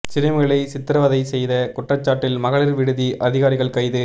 சிறுமிகளை சித்திரவதை செய்த குற்றச்சாட்டில் மகளிர் விடுதி அதிகாரிகள் கைது